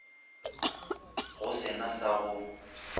go se na sa go